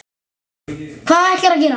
Hvað ætlarðu að gera?